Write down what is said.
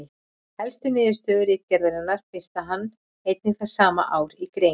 Helstu niðurstöðu ritgerðarinnar birti hann einnig það sama ár í grein.